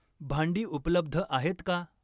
भांडी उपलब्ध आहेत का?